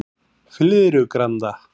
Flyðrugranda